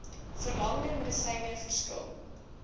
verlangde medisyne verskil